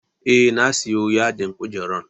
Eh na siyo yadin kujerar